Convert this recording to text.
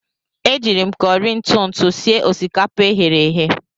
Eji m kọrị ntụ ntụ sie osikapa e ghere eghe.